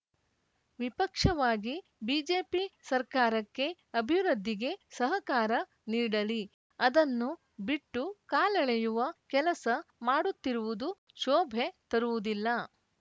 ವಿಪಕ್ಷವಾಗಿ BJP ಸರ್ಕಾರಕ್ಕೆ ಅಭಿವೃದ್ಧಿಗೆ ಸಹಕಾರ ನೀಡಲಿ ಅದನ್ನು ಬಿಟ್ಟು ಕಾಲೆಳೆಯುವ ಕೆಲಸ ಮಾಡುತ್ತಿರುವುದು ಶೋಭೆ ತರುವುದಿಲ್ಲ